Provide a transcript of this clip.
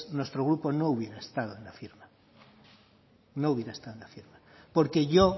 nuestro grupo no hubiera estado en la firma no hubiera estado en la firma porque yo